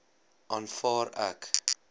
aanvaar ek